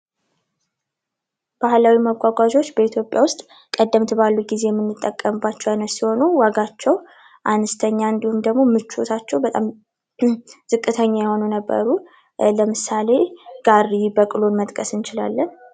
ባህላዊ መጓጓዣዎች በኢትዮጵያ ውስጥ ቀደምት ባሉ ጊዜ የምንጠቀምባቸው አይነት ሲሆኑ ዋጋቸው አነስተኛ እንድሁም ደግሞ ምቾታቸው በጣም ዝቅተኛ የሆኑ ነበሩ ለምሳሌ ጋሪ በቅሎ መጥቀስ እንችላለን።